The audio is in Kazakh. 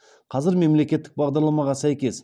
қазір мемлекеттік бағдарламаға сәйкес